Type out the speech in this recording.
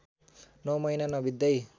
नौ महिना नबित्दै